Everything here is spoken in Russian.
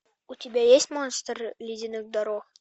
у тебя есть монстр ледяных дорог